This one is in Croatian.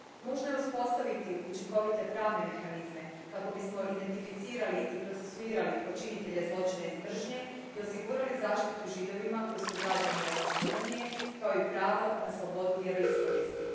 Nužno je uspostaviti učinkovite pravne mehanizme kako bismo identificirali i procesuirali počinitelje zločina iz mržnje i osigurali zaštitu Židovima koji su građani Europske unije kao i pravo na slobodu vjeroispovijesti.